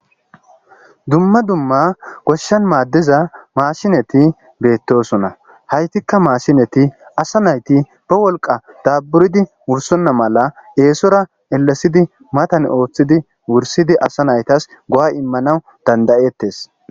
Duma duma goshan madiza matshineti betosona haysika matshineti asa nayti bawolqape dapuridi wursenamala esora elesidi matan otidi wursidi asa naytas go'a imanaw dandayetes